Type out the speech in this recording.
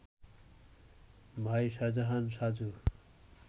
ভাই শাহজাহান সাজু